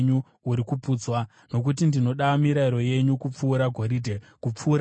Nokuti ndinoda mirayiro yenyu kupfuura goridhe, kupfuura goridhe rakanatswa,